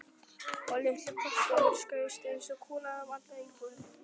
Og litli kroppurinn skaust eins og kúla um alla íbúðina.